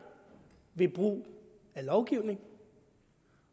ved brug af lovgivning